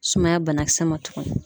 Sumaya banakisɛ ma tuguni.